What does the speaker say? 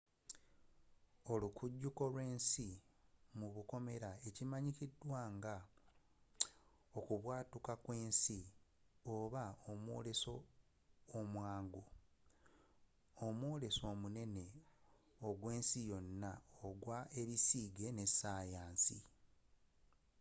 olukujjuko lw’ensi ekimanyikiddwa nga okubwatuka kwensi obaomwoleso omwangu mwoleso munene ogwensi yonna ogw’ebisiige ne sayansi